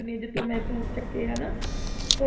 ਚੁੰਨੀਆ ਜਿੱਥੋਂ ਮੈਂ ਸੂਟ ਚੁੱਕੇ ਹੈ ਨਾ ਸੌ